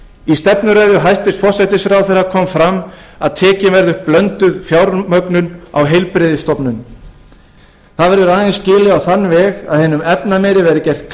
í stefnuræðu hæstvirts forsætisráðherra kom fram að tekin verði upp blönduð fjármögnun á heilbrigðisstofnunum það verður aðeins skilið á þann veg að hinum efnameiri verði gert